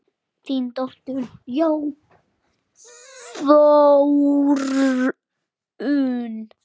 Þín dóttir, Þórunn.